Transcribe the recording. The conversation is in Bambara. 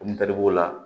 Mun kadi b'o la